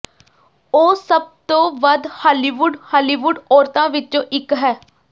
ਉਹ ਸਭ ਤੋਂ ਵੱਧ ਹਾਲੀਵੁੱਡ ਹਾਲੀਵੁੱਡ ਔਰਤਾਂ ਵਿੱਚੋਂ ਇੱਕ ਹੈ